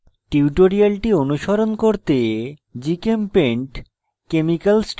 tutorial অনুসরণ করতে